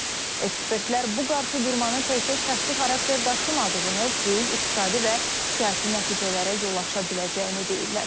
Ekspertlər bu qarşıdurmanın təkcə şəxsi xarakter daşımadığını, böyük iqtisadi və siyasi nəticələrə yol aça biləcəyini deyirlər.